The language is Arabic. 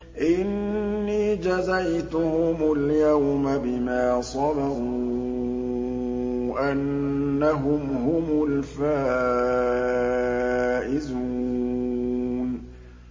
إِنِّي جَزَيْتُهُمُ الْيَوْمَ بِمَا صَبَرُوا أَنَّهُمْ هُمُ الْفَائِزُونَ